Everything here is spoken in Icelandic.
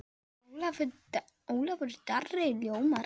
Ólafur Darri ljómar.